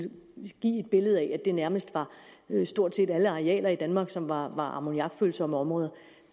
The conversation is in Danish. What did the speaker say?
give et billede af at det nærmest var alle arealer i danmark som var ammoniakfølsomme områder